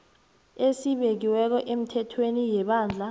esibekiweko emithethweni yebandla